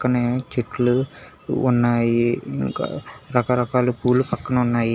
మ్ చెట్లు ఉన్నాయి ఇంకా రకరకాల పూలు పక్కన ఉన్నాయి.